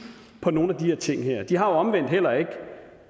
på nogle af de her ting de har omvendt heller ikke